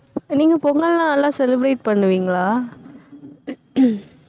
நீங்க பொங்கல்னா நல்லா celebrate பண்ணுவீங்களா